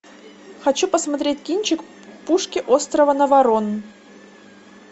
хочу посмотреть кинчик пушки острова наварон